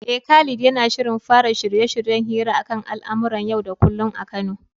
Eh, Khalid yana shirin fara shirye-shiryen hira akan al'amuran yau da kullum a Kano.